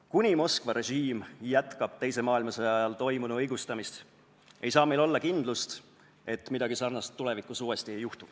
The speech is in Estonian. Kuni Moskva režiim jätkab teise maailmasõja ajal toimunu õigustamist, ei saa meil olla kindlust, et midagi sarnast tulevikus uuesti ei juhtu.